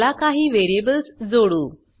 चला काही वेरिएबल्स जोडू